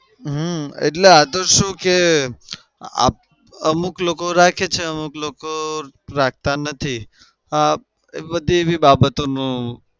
હમ એટલે આતો શું કે આપ અમુક લોકો રાખે છે અમુક લોકો રાખતા નથી એ બધી એવી બાબતોનું